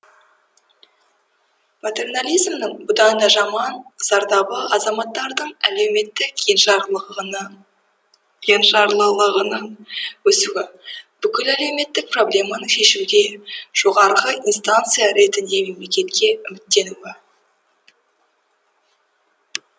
патернализмнің бұдан да жаман зардабы азаматтардың әлеуметтік енжарлылығының өсуі бүкіл әлеуметтік проблеманы шешуде жоғарғы инстанция ретінде мемлекетке үміттенуі